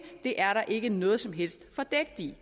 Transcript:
det er der ikke noget som helst fordækt i